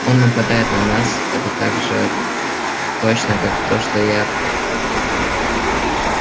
он нападает на нас это так же точно как то что я